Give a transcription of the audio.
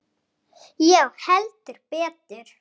Já, heldur betur!